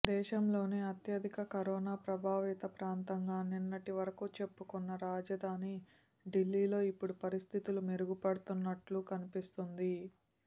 దేశంలోనే అత్యధిక కరోనా ప్రభావిత ప్రాంతంగా నిన్నటి వరకూ చెప్పుకున్న రాజధాని ఢిల్లీలో ఇప్పుడు పరిస్థితులు మెరుగుపడుతున్నట్టు కన్పిస్తోంది